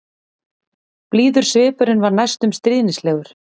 Blíður svipurinn var næstum stríðnislegur.